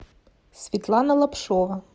светлана лапшова